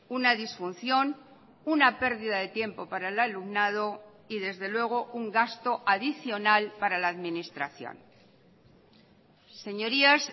una disfunción una pérdida de tiempo para el alumnado y desde luego un gasto adicional para la administración señorías